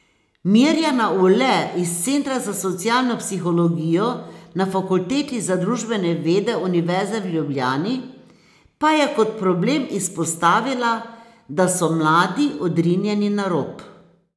Mirjana Ule iz centra za socialno psihologijo na Fakulteti za družbene vede Univerze v Ljubljani pa je kot problem izpostavila, da so mladi odrinjeni na rob.